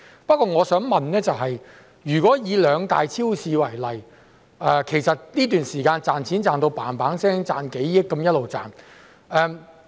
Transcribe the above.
不過我想問，以兩大超市為例，它們在這段時間不斷賺錢，賺了上億元。